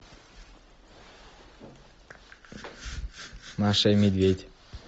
маша и медведь